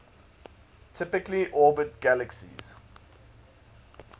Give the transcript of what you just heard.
typically orbit galaxies